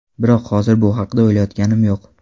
Biroq hozir bu haqda o‘ylayotganim yo‘q.